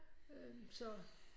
Øh så